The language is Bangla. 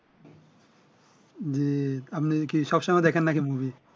জ্বি আপনি কি সবসময় দেখেন না কি মুভি